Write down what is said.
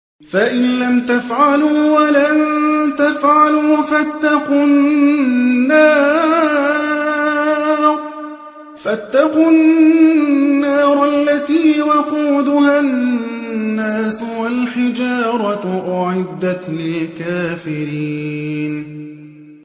فَإِن لَّمْ تَفْعَلُوا وَلَن تَفْعَلُوا فَاتَّقُوا النَّارَ الَّتِي وَقُودُهَا النَّاسُ وَالْحِجَارَةُ ۖ أُعِدَّتْ لِلْكَافِرِينَ